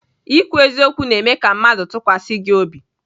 Ikwu eziokwu na-eme ka mmadụ tụkwasị gị obi.